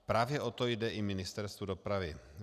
Právě o to jde i Ministerstvu dopravy.